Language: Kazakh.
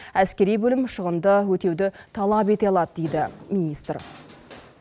әскери бөлім шығынды өтеуді талап ете алады дейді министр